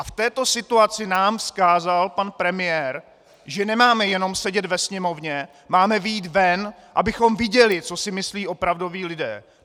A v této situaci nám vzkázal pan premiér, že nemáme jenom sedět ve Sněmovně, máme vyjít ven, abychom viděli, co si myslí opravdoví lidé!